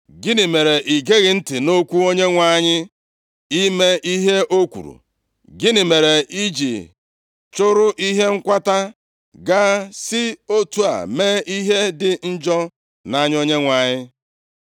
Gịnị mere i geghị ntị nʼokwu Onyenwe anyị ime ihe o kwuru? Gịnị mere i ji chụrụ ihe nkwata gaa, si otu a mee ihe dị njọ nʼanya Onyenwe anyị?”